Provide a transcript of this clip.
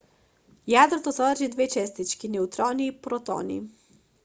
јадрото содржи две честички неутрони и протони